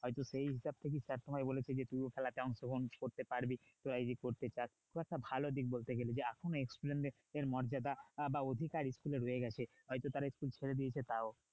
হয়তো সেই হিসাব থেকেই sir তোমায় বলেছে যে খেলা কেমন প্রথম খেলতে পারবে কি তোরা যদি করতে চাস খুব একটা ভালো দিক বলতে গেলে যে এখনো school এ তে মর্যাদা বা অধিকার school এ রয়ে গেছে হয়তো তারা school ছেড়ে দিয়েছে তাও,